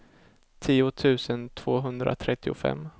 tio tusen tvåhundratrettiofem